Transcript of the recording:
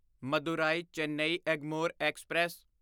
Madurai Chennai Egmore express